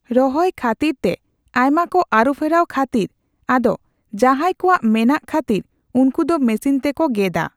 ᱨᱚᱦᱚᱭ ᱠᱷᱟᱛᱚᱹᱤᱨ ᱛᱮ ᱟᱭᱢᱟ ᱠᱚ ᱟᱨᱩᱯᱷᱮᱨᱟᱣ ᱠᱷᱟᱹᱛᱤᱨ ᱟᱫᱚ ᱡᱟᱦᱟᱸᱭ ᱠᱚᱣᱟᱜ ᱢᱮᱱᱟᱜ ᱠᱷᱟᱹᱛᱤᱨ ᱩᱱᱠᱩ ᱫᱚ ᱢᱮᱥᱤᱱ ᱛᱮᱠᱚ ᱜᱮᱫᱼᱟ ᱾